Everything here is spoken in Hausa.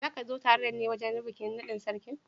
Za kua zo tare da ni wurin bikin nadin sarki.